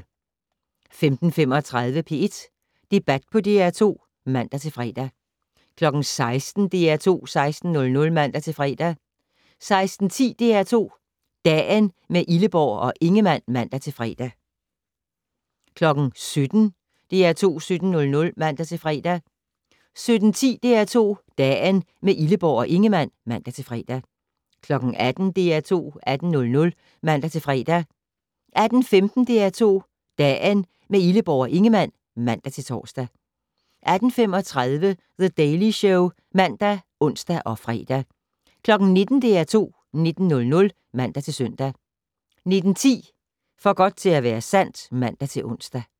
15:35: P1 Debat på DR2 (man-fre) 16:00: DR2 16:00 (man-fre) 16:10: DR2 Dagen - med Illeborg og Ingemann (man-fre) 17:00: DR2 17:00 (man-fre) 17:10: DR2 Dagen - med Illeborg og Ingemann (man-fre) 18:00: DR2 18:00 (man-fre) 18:15: DR2 Dagen - med Illeborg og Ingemann (man-tor) 18:35: The Daily Show (man og ons-fre) 19:00: DR2 19:00 (man-søn) 19:10: For godt til at være sandt (man-ons)